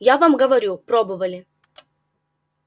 я вам говорю пробовали